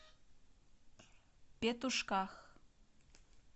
петушках